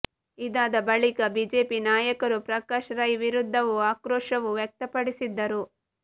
ಇದಾದ ಬಳಿಕ ಬಿಜೆಪಿ ನಾಯಕರು ಪ್ರಕಾಶ್ ರೈ ವಿರುದ್ಧವೂ ಆಕ್ರೋಶವೂ ವ್ಯಕ್ತಪಡಿಸಿದ್ದರು